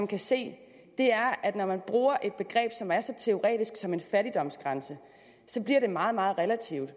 kan se at når man bruger et begreb som er så teoretisk som en fattigdomsgrænse så bliver det meget meget relativt og